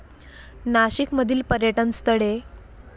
नाशिक मधील पर्यटन स्थळे